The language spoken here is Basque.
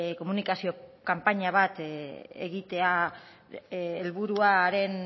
komunikazio kanpaina bat egitea helburuaren